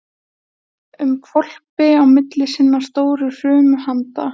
um hvolpi á milli sinna stóru hrumu handa.